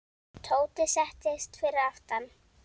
Tóti settist fyrir aftan.